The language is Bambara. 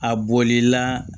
A bolila